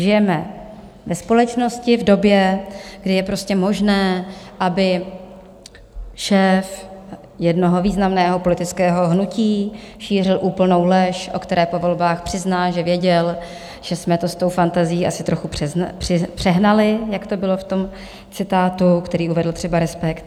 Žijeme ve společnosti v době, kdy je prostě možné, aby šéf jednoho významného politického hnutí šířil úplnou lež, o které po volbách přizná, že věděl, že jsme to s tou fantazií asi trochu přehnali, jak to bylo v tom citátu, který uvedl třeba Respekt.